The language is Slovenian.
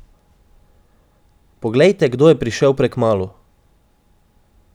Poglejte, kdo je prišel prekmalu!